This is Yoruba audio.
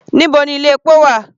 Níbo ni ilé epo wà?